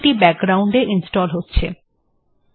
এটি এখন বাকগ্রাউন্ড এ ইনস্টল্ হচ্ছে